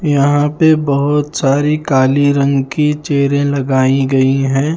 यहां पे बहुत सारी काली रंग की चेयरे लगाई गई हैं।